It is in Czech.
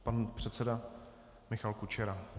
Pan předseda Michal Kučera.